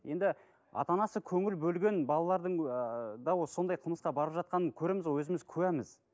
енді ата анасы көңіл бөлген балалардың ыыы сондай қылмысқа барып жатқанын көреміз ғой өзіміз куәміз